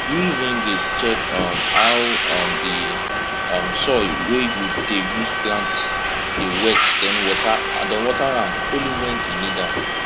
use rain gauge check um how um di um soil wey you dey use plant dey wet den water am only when e need am